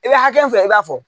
I bɛ hakɛ i b'a fɔ